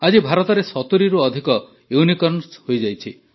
ଆଜି ଭାରତରେ ୭୦ରୁ ଅଧିକ ୟୁନିକର୍ଣ୍ଣ ହୋଇଯାଇଛି